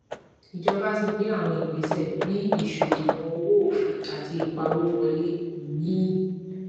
ìjọba ti gbe àwọn ìgbésẹ bí ìsọdìwọn owó òfin àti ìpawo wọlé míì